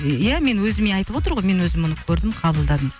иә менің өзіме айтып отыр ғой мен өзім оны көрдім қабылдадым